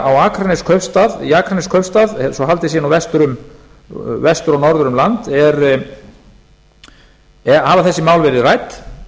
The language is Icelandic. í reykjavík í akraneskaupstað svo haldið sé nú vestur og norður um land hafa þessi mál verið rædd